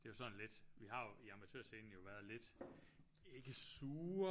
Det er jo sådan lidt vi har jo i Amatørscenen jo været lidt ikke sure